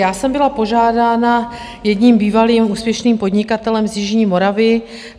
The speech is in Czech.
Já jsem byla požádána jedním bývalým úspěšným podnikatelem z jižní Moravy.